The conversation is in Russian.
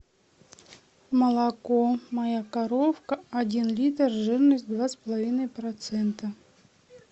молоко моя коровка один литр жирность два с половиной процента